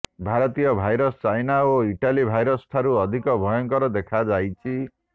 ଭାରତୀୟ virus China ଓ Italy virus ଠାରୁ ଅଧିକ ଭୟଙ୍କର ଦେଖାଯାଉଛି